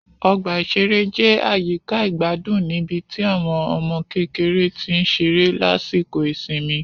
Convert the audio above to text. Ọgbà ìṣeré jẹ́ àyíká ìgbádùn níbi tí àwọn ọmọ kékeré tí ń ṣeré lásìkò ìsinmi